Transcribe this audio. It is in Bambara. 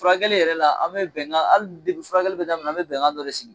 Furakɛli yɛrɛ la a bɛ bɛnkan ali furakɛ bɛ daminɛ a bɛ bɛnkan dɔ de sigi.